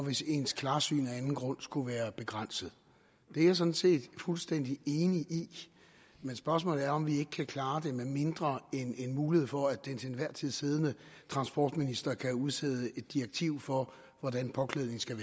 hvis ens klarsyn af anden grund skulle være begrænset det er jeg sådan set fuldstændig enig i men spørgsmålet er om vi ikke kan klare det med mindre end en mulighed for at den til enhver tid siddende transportminister kan udstede et direktiv for hvordan påklædningen skal